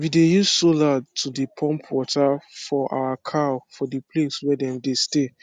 we dey use sola to dey pump water for our cow for the place wey dem dey stay